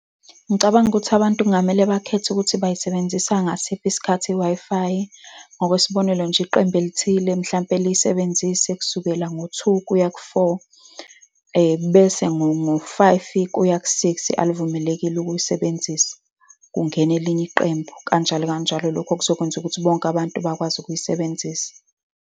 Ngicabanga ukuthi abantu kungamele bakhethe ukuthi bayisebenzisa ngasiphi isikhathi i-Wi-Fi. Ngokwesibonelo nje, iqembu elithile mhlampe liyisebenzise kusukela ngo-two kuya ku-four. Bese ngo-five kuya ku-six anivumelekile ukuyisebenzisa, kungene elinye iqembu, kanjalo kanjalo. Lokho kuzokwenza ukuthi bonke abantu bakwazi ukuyisebenzisa.